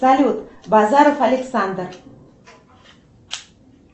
салют базаров александр